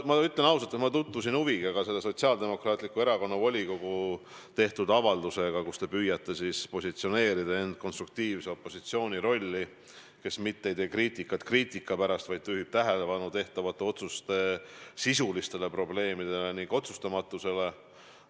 Ma ütlen ausalt, et ma tutvusin huviga Sotsiaaldemokraatliku Erakonna volikogu tehtud avaldusega, kus te püüate end positsioneerida konstruktiivse opositsioonina, kes ei tee kriitikat kriitika pärast, vaid juhib tähelepanu tehtavate otsuste sisulistele probleemidele ning otsustamatusele.